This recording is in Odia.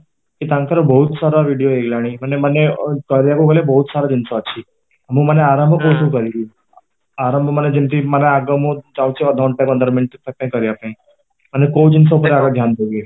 ତାଙ୍କର ବହୁତ ସାରା ଭିଡ଼ିଓ ହେଇଗଲାଣି ମାନେ ମାନେ କହିବାକୁ ଗଲେ ବହୁତ ସାରା ଜିନିଷ ଅଛି ମୁଁ ମାନେ ଆରମ୍ଭ କୋଉଥିରେ କରିବି, ଆରମ୍ଭ ମାନେ ଯେମିତି ମାନେ ଆଗ ମୁଁ ଯାଉଛି ଅଧ ଘଣ୍ଟେ ପନ୍ଦର ମିନିଟ ପାଇଁ କରିବା ପାଇଁ ମାନେ କୋଉ ଜିନିଷ ଉପରେ ଅଧିକ ଧ୍ୟାନ ଦେବି